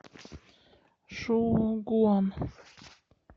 шоугуан